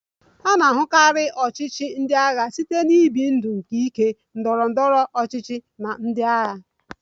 A na-ahụkarị ọchịchị ndị agha site na ibi ndụ nke ike ndọrọ ndọrọ ọchịchị na ndị agha